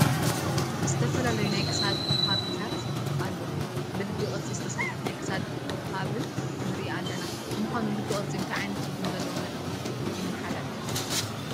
ዝተፈላለዩ ናይ ክሳድ ሓብልታት ኣለዉ፡፡ ብልቢ ቅርፂ ዝተሰርሐ ናይ ክሳድ ሓብሊ ንርኢ ኣለና፡፡ ንምዃኑ ልቢ ቅርፂ እንታይ ዓይነት ትርጉም ዘለዎ መልእኽቲ የመሓላልፍ?